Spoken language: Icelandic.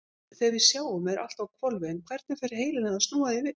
Þegar við sjáum er allt á hvolfi en hvernig fer heilinn að snúa því við?